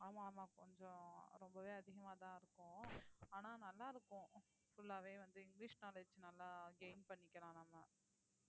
ஆமா ஆமா கொஞ்சம் ரொம்பவே அதிகமாதான் இருக்கும் ஆனா நல்லா இருக்கும் full ஆவே வந்து இங்கிலிஷ் knowledge நல்லா gain பண்ணிக்கலாம் நம்ம